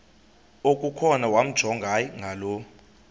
okukhona wamjongay ngaloo